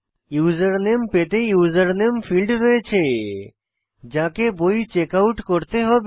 username পেতে username field রয়েছে যাকে বই চেকআউট করতে হবে